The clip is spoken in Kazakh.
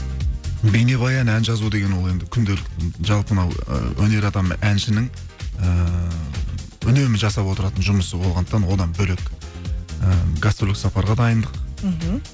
бейнебаян ән жазу деген ол енді күнделік жалпы мынауы ы өнер адамы әншінің ыыы үнемі жасап отыратын жұмысы болғандықтан одан бөлек і гастрольдік сапарға дайындық мхм